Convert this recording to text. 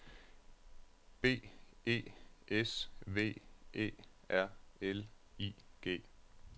B E S V Æ R L I G